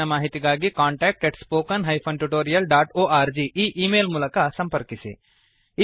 ಹೆಚ್ಚಿನ ಮಾಹಿತಿಗಾಗಿ contact spoken tutorialorg ಈ ಈ ಮೇಲ್ ಮೂಲಕ ಸಂಪರ್ಕಿಸಿ